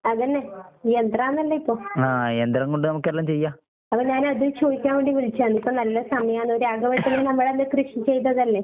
അതന്നെ, ഈ യന്ത്രാന്നല്ലോ ഇപ്പൊ. അപ്പ ഞാനത് ചോയിക്കാൻ വേണ്ടി വിളിച്ചാന്ന്. ഇപ്പ നല്ല സമയാണോ രാഘവേട്ടനും നമ്മളന്ന് കൃഷി ചെയ്തതല്ലേ?